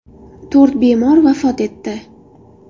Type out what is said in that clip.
To‘rt bemor vafot etdi.